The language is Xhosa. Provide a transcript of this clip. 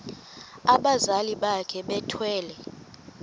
abazali bakhe bethwele